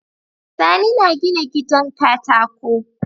Sani na gina gidan katako